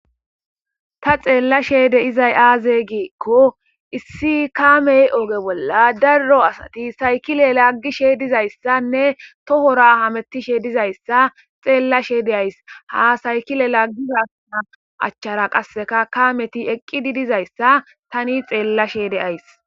ta xeella shede izay aazey giikko issi kaamey oge bolla darro asati saykile laggishe dizayssanne tohora hamettishe dizayssa xeella shede ays ha saykile laaggihana achchara qasseka kaameti eqqidi dizayssa tani xeella sheede ays